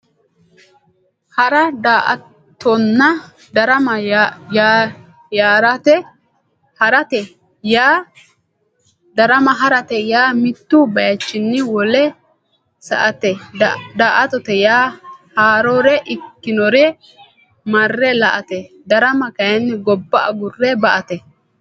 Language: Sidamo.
Hara daa"attonna darama harate yaa mittu baychinni wolewa sa"ate daa"attote yaa haarore ikkinore marre la"ate darama kayinni gobba agurre ba"ate